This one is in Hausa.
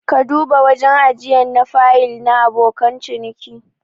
Ka duba wajen ajiyan na fayil na abokan ciniki.